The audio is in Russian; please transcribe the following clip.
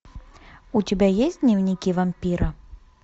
у тебя есть дневники вампира